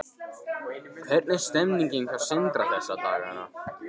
Hvernig er stemningin hjá Sindra þessa dagana?